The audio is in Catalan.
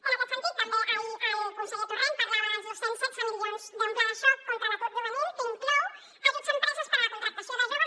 en aquest sentit també ahir el conseller torrent parlava dels dos cents i setze milions d’un pla de xoc contra l’atur juvenil que inclou ajuts a empreses per a la contractació de joves